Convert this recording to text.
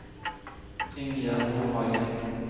Ingjerd Nordhagen